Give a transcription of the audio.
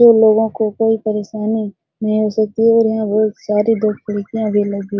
जो लोगों को कोई परेशानी नहीं हो सकती है और यहां बहुत सारी दो खिड़कियां भी लगी --